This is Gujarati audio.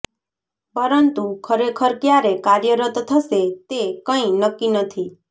પરંતુ ખરેખર ક્યારે કાર્યરત થશે તે કંઈ નક્કી નથી